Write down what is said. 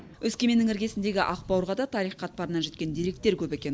өскеменнің іргесіндегі ақбауырға да тарих қатпарынан жеткен деректер көп екен